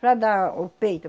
Para dar o peito.